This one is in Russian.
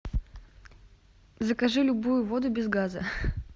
закажи любую воду без газа